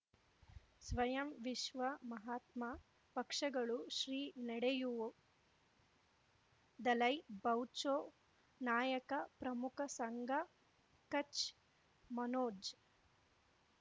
ಸ್ವಯಂ ವಿಶ್ವ ಮಹಾತ್ಮ ಪಕ್ಷಗಳು ಶ್ರೀ ನಡೆಯೂ ದಲೈ ಬೌಚೌ ನಾಯಕ ಪ್ರಮುಖ ಸಂಘ ಕಚ್ ಮನೋಜ್